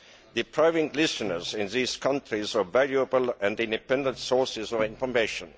depriving listeners in this country of valuable and independent sources of information.